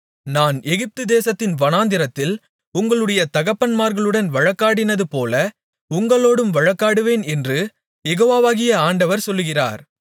நான் எகிப்துதேசத்தின் வனாந்திரத்தில் உங்களுடைய தகப்பன்மார்களுடன் வழக்காடினதுபோல உங்களோடும் வழக்காடுவேன் என்று யெகோவாகிய ஆண்டவர் சொல்லுகிறார்